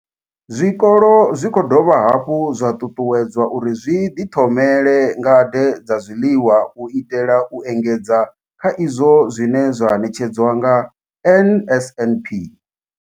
Zwikolo zwi khou dovha hafhu zwa ṱuṱuwedzwa uri zwi ḓithomele ngade dza zwiḽiwa u itela u engedza kha izwo zwine zwa ṋetshedzwa nga NSNP.